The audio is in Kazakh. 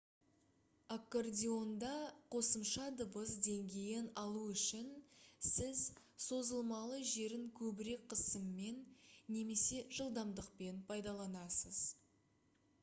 аккордеонда қосымша дыбыс деңгейін алу үшін сіз созылмалы жерін көбірек қысыммен немесе жылдамдықпен пайдаланасыз